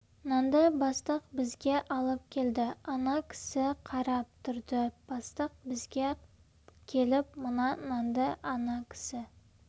нанды бастық бізге алып келді ана кісі қарап тұрды бастық бізге келіп мына нанды ана кісі